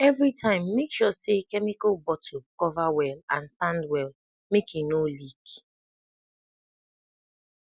everytime make sure say chemical bottle cover well and stand well make e no leak